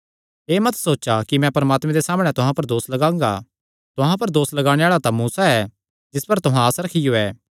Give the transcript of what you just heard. एह़ मत सोचा कि मैं परमात्मे दे सामणै तुहां पर दोस लगांगा तुहां पर दोस लगाणे आल़ा तां मूसा ऐ जिस पर तुहां आस रखियो ऐ